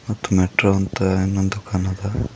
ಮತ್ತು ಮೆಟ್ರೋ ಅಂತ ಇನ್ನೊಂದು ಕಾಣಾ ತ್ತದ.